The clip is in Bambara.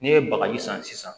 N'i ye bagaji san sisan